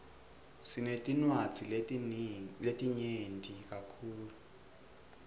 sinetinwadzi letinyeti kakhulu